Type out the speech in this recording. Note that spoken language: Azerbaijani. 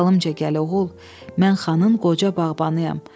Dalımca gəl oğul, mən xanın qoca bağbanıyam.